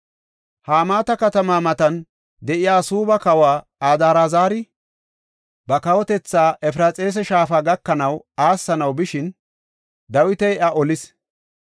Hamaata katamaa matan de7iya Suubba kawoy Adraazari, ba kawotetha Efraxiisa shaafa gakanaw aassanaw bishin Dawiti iya olis.